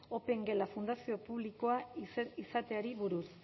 opengela fundazioa publikoa izateari buruz